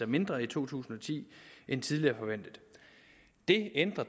mindre i to tusind og ti end tidligere forventet det ændrer